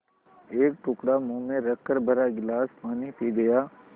एक टुकड़ा मुँह में रखकर भरा गिलास पानी पी गया